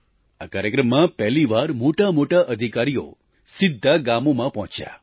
આ કાર્યક્રમમાં પહેલી વાર મોટામોટા અધિકારીઓ સીધા ગામોમાં પહોંચ્યા